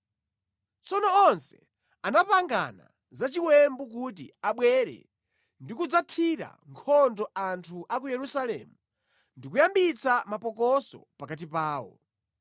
Tsono onse anapangana za chiwembu kuti abwere ndi kudzathira nkhondo anthu a ku Yerusalemu ndi kuyambitsa mapokoso pakati pawo.